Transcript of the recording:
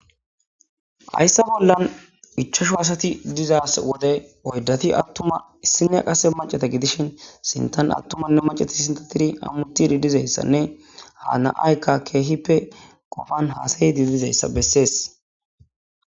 Haysa bolla ichachchu asatu dizaso wode oydati atuma issinaya mac'ata gidishin attumanne mac'ati hamutidi dizaysanne ha nam'ay kehippe qofan hasayidi dizayisa nbeses.